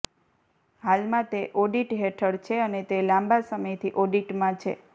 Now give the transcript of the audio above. હાલમાં તે ઓડિટ હેઠળ છે અને તે લાંબા સમયથી ઓડિટમાં છે